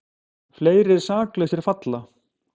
Fleiri saklausir falla